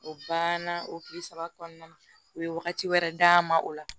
O banna o tile saba kɔnɔna na u ye wagati wɛrɛ d'a ma o la